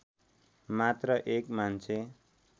मात्र एक मान्छे